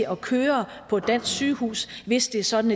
at køre på et dansk sygehus hvis det er sådan